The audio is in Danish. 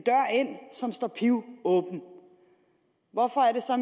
som står pivåben hvorfor er det så